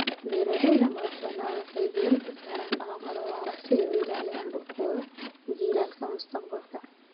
Beeralayda madaxbannaan waxay diiradda saaraan dhaqamada waara si ay u ilaashadaan dhulkooda jiilalka mustaqbalka